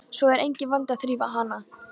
Svo er enginn vandi að þrífa hana.